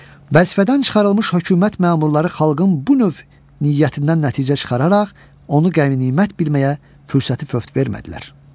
Vəzifədən çıxarılmış hökumət məmurları xalqın bu növ niyyətindən nəticə çıxararaq onu qənimət bilməyə fürsəti fövt vermədilər.